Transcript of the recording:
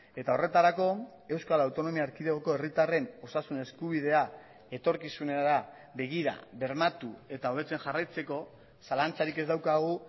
eta horretarako euskal autonomia erkidegoko herritarren osasun eskubidea etorkizunera begira bermatu eta hobetzen jarraitzeko zalantzarik ez daukagu